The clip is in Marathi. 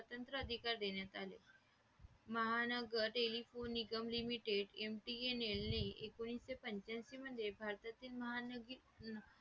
स्वातंत्र्य अधिकार देण्यात आले Mahanagar Telephone Nigam limited MTNL ने एकोणीशेपंचांशी मध्ये भारतातील